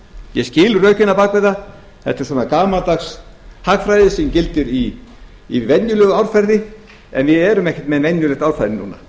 ég skil rökin á bak við það þetta er svona gamaldags hagfræði sem gildir í venjulegu árferði en við erum ekkert með venjulegt árferði núna